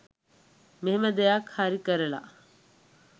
මෙහෙම දෙයක් හරි කරලා